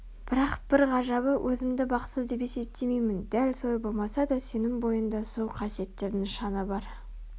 бірақ бір ғажабы өзімді бақытсызбын деп есептемеймін дәл солай болмаса да сенің бойыңда сол қасиеттердің нышаны бар